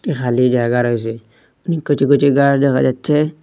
খালি জায়গা রয়েসে অনেক কিছু কিছু গাছ দেখা যাচ্ছে।